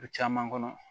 O caman kɔnɔ